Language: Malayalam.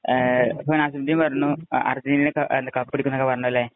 അപ്പൊ നസിമുദ്ദീന്‍ പറഞ്ഞു അര്‍ജന്‍റീന കപ്പെടുക്കും എന്നൊക്കെ പറഞ്ഞു അല്ലെ.